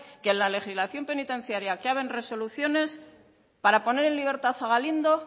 que la legislación penitenciaria que caben resoluciones para poner en libertad a galindo